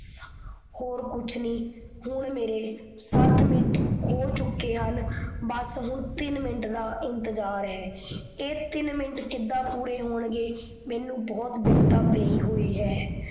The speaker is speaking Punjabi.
ਹੋਰ ਕੁਛ ਨਹੀਂ। ਹੁਣ ਮੇਰੇ ਸਤ ਮਿੰਟ ਹੋ ਚੁੱਕੇ ਹਨ, ਬੱਸ ਹੁਣ ਤਿਨ ਮਿੰਟ ਦਾ ਇੰਤਜਾਰ ਹੈ। ਇਹ ਤਿਨ ਮਿੰਟ ਕਿੱਦਾਂ ਪੂਰੇ ਹੋਣਗੇ ਮੈਨੂੰ ਬਹੁਤ ਬਿਪਦਾ ਪੇਈ ਹੋਈ ਹੈ